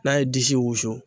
N'a ye disi wusu.